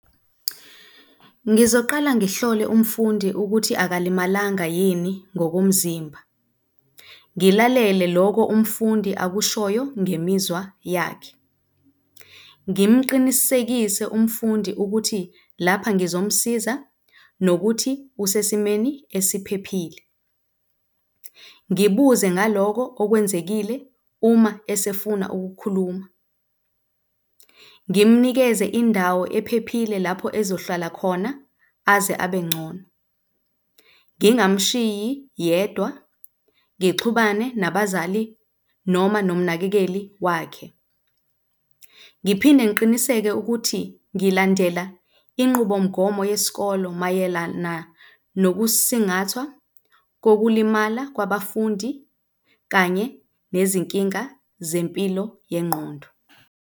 Ngizoqala ngihlole umfundi ukuthi akalimalanga yini ngokomzimba, ngilalele loko umfundi akushoyo ngemizwa yakhe. Ngimqinisekise umfundi ukuthi lapha ngizomsiza nokuthi usesimeni esiphephile. Ngibuze ngaloko okwenzekile uma esefuna ukukhuluma. Ngimnikeze indawo ephephile lapho ezohlala khona aze abe ngcono. Ngingamushiyi yedwa, ngixhumane nabazali, noma nomnakekeli wakhe. Ngiphinde ngiqiniseke ukuthi ngilandela inqubomgomo yesikolo mayelana nokusingathwa okulimala kwabafundi kanye nezinkinga zempilo yengqondo.